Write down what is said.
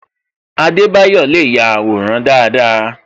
Adebayo le ya àwòrán dáadáa